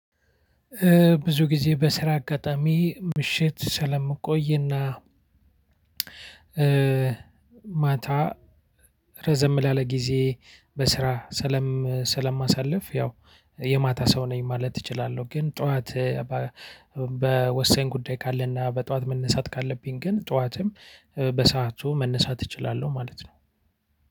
ብዙ ጊዜ በስራ አጋጣሚ ምሽት ስለምቆይና ማታ ረዘም ላለ ጊዜ በስራ ሰለም ሰለማሳለፍ ያው የማታ ሰው ነኝ ማለት እችላለሁ። ግን ጠዋት በወሰሳኝ ጉዳይ ካለና በጠዋት መነሳት ካለብኝ ግን ጠዋትም በሰአቱ መነሳት እችላለሁ ማለት ነው።